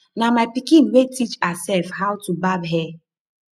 na my pikin wey teach herself how to barb hair